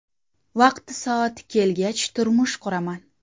Vaqti-soati kelgach, turmush quraman.